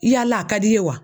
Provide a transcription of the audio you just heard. I yala a ka d'i ye wa?